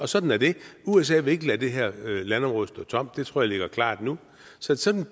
sådan er det usa vil ikke lade det her landområde stå tomt det tror jeg står klart nu så sådan